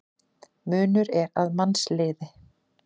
Munur er að mannsliði.